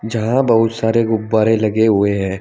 जहां बहुत सारे गुब्बारे लगे हुए हैं।